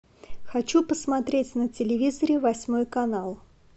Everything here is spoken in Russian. хочу посмотреть на телевизоре восьмой канал